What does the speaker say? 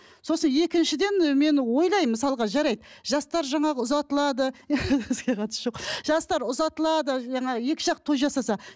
сосын екіншіден мен ойлаймын мысалға жарайды жастар жаңағы ұзатылады жастар ұзатылады жаңағы екі жақ той жасаса